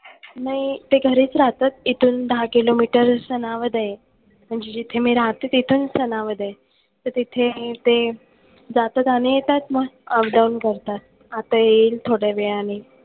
नाही. ते घरीच राहतात इथून दहा किलोमीटर सनावद आहे. म्हणजे जिथे मी राहते तिथून सनावद आहे. तर तिथे ते जातात आणि येतात मग. Updown करतात. आता येईल थोड्या वेळाने.